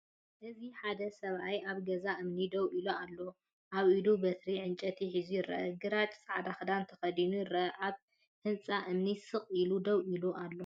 እዚ ሓደ ሰብኣይ ኣብ ገዛ እምኒ ደው ኢሉ ኣሎ። ኣብ ኢዱ በትሪ ዕንጨይቲ ሒዙ ይርአ። ግራጭን ጻዕዳን ክዳን ተኸዲኑ፡ ይርአ። ኣብ ህንጻ እምኒ ስቕ ኢሉ ደው ኢሉ ኣሎ።